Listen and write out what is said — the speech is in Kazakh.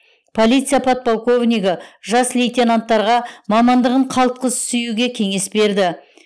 полиция подполковнигі жас лейтенанттарға мамандығын қалтқысыз сүюге кеңес берді